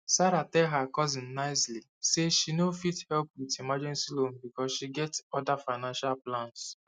sarah tell her cousin nicely say she no fit help with emergency loan because she get other financial plans